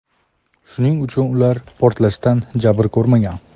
shuning uchun ular portlashdan jabr ko‘rmagan.